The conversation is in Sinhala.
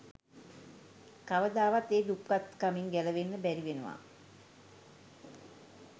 කවදාවත් ඒ දුප්පත්කමින් ගැලවෙන්න බැරි වෙනවා